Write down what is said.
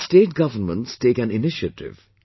Even State Governments take an initiative